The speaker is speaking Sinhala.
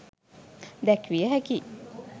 දැක්විය හැකි